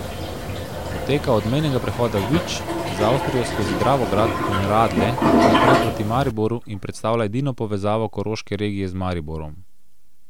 Poteka od mejnega prehoda Vič z Avstrijo skozi Dravograd in Radlje naprej proti Mariboru in predstavlja edino povezavo koroške regije z Mariborom.